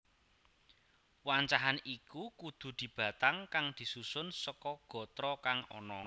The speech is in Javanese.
Wancahan iku kudu dibatang kang disusun seka gatra kang ana